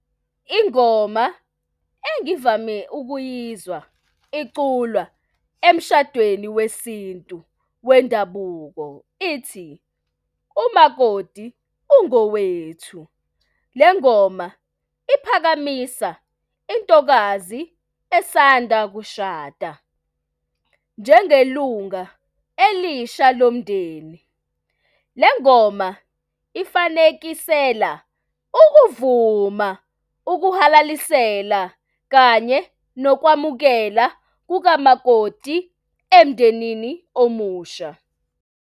Ingoma engivame ukuyizwa iculwa emshadweni wesintu wendabuko ithi umakoti ungowethu. Le ngoma iphakamisa intokazi esanda kushada njengelunga elisha lomndeni. Lengoma ifanekisela ukuvuma ukuhalalisela kanye nokwamukela kukamakoti emndenini omusha.